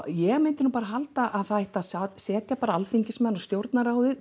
ég myndi bara halda að það ætti að setja alþingismenn og